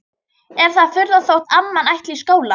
Er það furða þótt amman ætli í skóla?